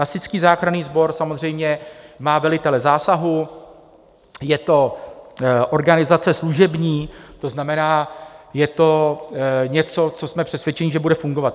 Hasičský záchranný sbor samozřejmě má velitele zásahu, je to organizace služební, to znamená, je to něco, co jsme přesvědčeni, že bude fungovat.